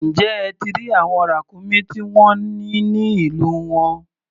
Ǹjẹ́ ẹ ti rí àwọn ràkúnmí tí wọ́n ní ní ìlú wọn?